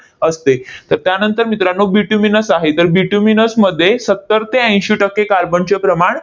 असते. तर त्यानंतर मित्रांनो, bituminous आहे. तर bituminous मध्ये सत्तर ते ऐंशी टक्के कार्बनचे प्रमाण